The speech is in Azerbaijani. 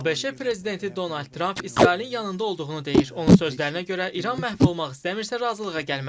ABŞ prezidenti Donald Tramp İsrailin yanında olduğunu deyir, onun sözlərinə görə İran məhv olmaq istəmirsə, razılığa gəlməlidir.